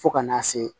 Fo ka n'a se